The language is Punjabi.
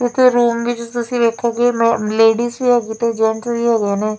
ਇੱਥੇ ਰੂਮ ਵਿਚ ਤੁਸੀ ਵੇਖੋਂਗੇ ਮੈ ਲੇਡੀਜ਼ ਵੀ ਹੈਗੇ ਤੇ ਜੇਂਟਸ ਵੀ ਹੈਗੇ ਨੇ।